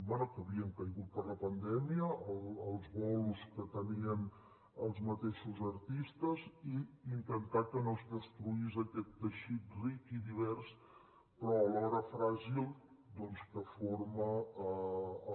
bé que havien caigut per la pandèmia els bolos que tenien els mateixos artistes i intentar que no es destruís aquest teixit ric i divers però alhora fràgil doncs que forma el